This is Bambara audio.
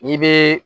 I bɛ